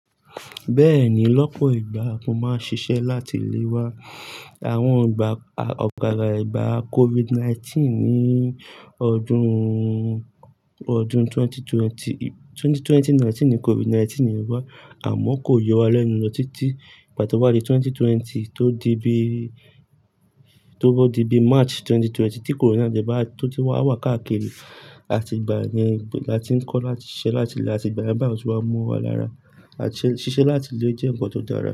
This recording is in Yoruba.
Bẹ́ẹ̀ni, lọ́pọ̀ ìgbà mo máa ń ṣiṣẹ́ láti ilé wa. Àwọn ìgbà ọ̀gara ìgbà COVID-19 ní ọdún, ọdún 2020, 2020 COVID-19 ni ọba, àmọ́ kò yọ wa lẹ́nu lọ títí ìgbà tí ó wá di 2020 tó di bí, tó di bí March 2020 tí coronavirus tó ti wá wà káàkiri, àti ìgbà ni a ti ń kọ́ láti ṣiṣẹ́ láti ilé àti ìgbà yen bayi o ti wá mọ wa lára. Àti ṣíṣe láti ilé jẹ́ ǹkan tó dára.